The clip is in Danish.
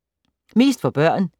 Mest for børn